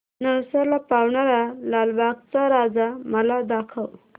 नवसाला पावणारा लालबागचा राजा मला दाखव